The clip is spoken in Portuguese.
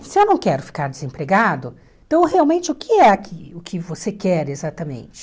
Se eu não quero ficar desempregado, então realmente o que é o que que você quer exatamente?